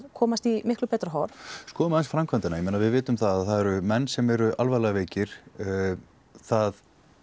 komast í miklu betra horf skoðum aðeins framkvæmdina við vitum það að það eru menn sem eru alvarlega veikir það